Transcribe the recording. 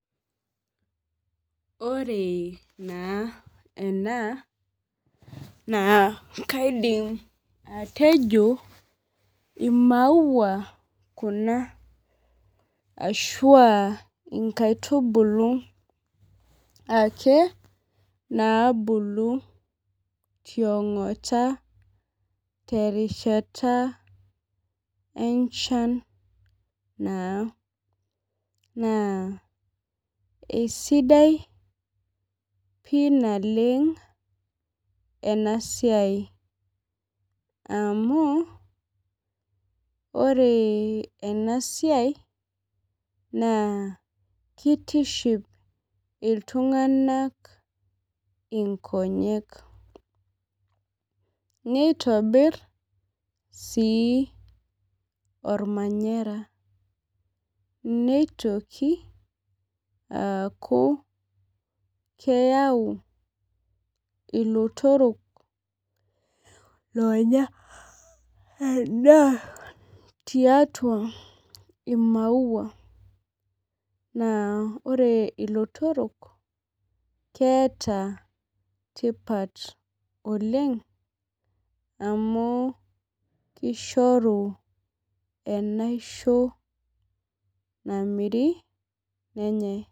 Ore naa enaa naa kaidim atejo ii maua kuna ashu inakitubulu ake nabulu tiong'ota terishata enchan naa. Naa isidai pii naleng' ena siai. Amu ore ena siaia kitiship iltung'ana inkonyek. Nitobir sii ormanyara. Nitokiaki akuu keyau ilotorok onyaa eda tiatua ii maua. Naa ore ilotorok keeta tipat oleng' amu kishoru enaisho namiri nenyae.